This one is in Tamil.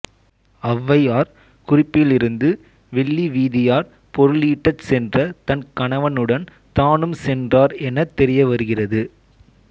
ஔவையார் குறிப்பிலிருந்து வெள்ளிவீதியார் பொருளீட்டச் சென்ற தன் கணவனுடன் தானும் சென்றார் எனத் தெரியவருகிறது